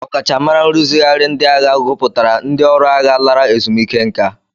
Ọkachamara nrụzigharị ndị agha gụpụtara ndị ọrụ agha lara ezumike nka.